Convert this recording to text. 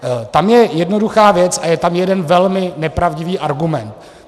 Tam je jednoduchá věc a je tam jeden velmi nepravdivý argument.